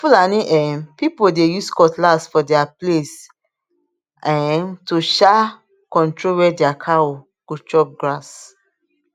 fulani um people dey use cutlass for their place um to um control where their cow go chop grass